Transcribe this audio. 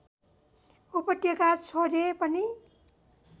उपत्यका छोडे पनि